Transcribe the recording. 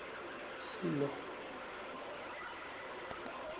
silo